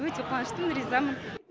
өте қуаныштымын ризамын